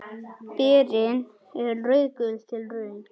Berin eru rauðgul til rauð.